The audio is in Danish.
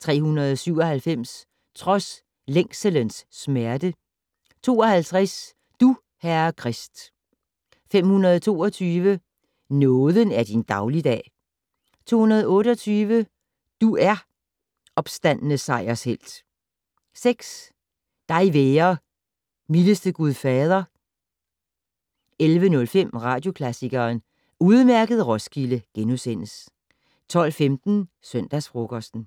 397 "Trods længselens smerte". 52 "Du, Herre Krist". 522 "Nåden er din dagligdag". 228 "Du er, opstandne sejershelt". 6 "Dig være, mildeste Gud Fader". 11:05: Radioklassikeren: Udmærket Roskilde! * 12:15: Søndagsfrokosten